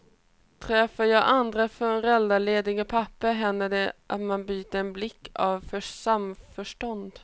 Träffar jag andra föräldralediga pappor händer det att man byter en blick av samförstånd.